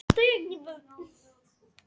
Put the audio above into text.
Hún hefur ekki heyrt það betra.